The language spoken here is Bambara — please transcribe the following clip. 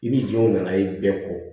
I bi jɔw nana ye bɛɛ kɔ